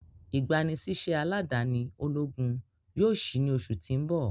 igbanisiṣẹ aladani ologun yoo ṣii ni oṣu ti n bọ.